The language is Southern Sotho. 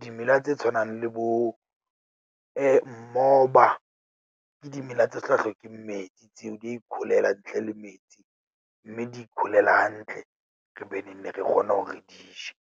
Dimela tse tshwanang le bo , moba ke dimela tse sa hlokeng metsi tseo. Di a ikholela ntle le metsi, mme di ikholela hantle, re beng re kgone hore re di je.